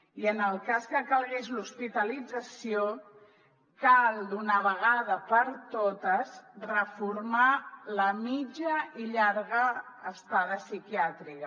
i en el cas que calgués l’hospitalització cal d’una vegada per totes reformar la mitja i llarga estada psiquiàtrica